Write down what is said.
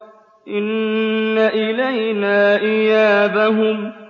إِنَّ إِلَيْنَا إِيَابَهُمْ